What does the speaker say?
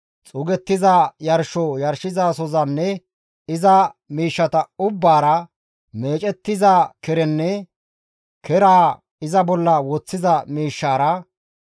xuugettiza yarsho yarshizasozanne iza miishshata ubbaara, meecettiza kerenne keraa iza bolla woththiza miishshara,